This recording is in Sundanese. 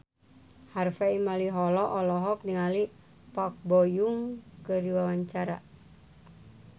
Harvey Malaiholo olohok ningali Park Bo Yung keur diwawancara